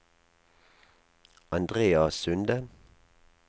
Andrea Sunde